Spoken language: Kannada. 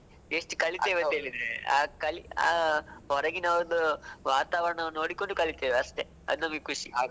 ಅಂತ್ ಹೇಳಿದ್ರೆ ಆ ಹೊರಗಿನ ಒಂದು ವಾತಾವರಣವನ್ನು ನೋಡಿಕೊಂಡು ಕಲಿತೇವೆ ಅಷ್ಟೇ ಅದು ನಮಗೆ ಖುಷಿ.